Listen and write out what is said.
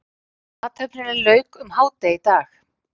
Athöfninni lauk um hádegi í dag